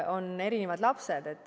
On erinevad lapsed.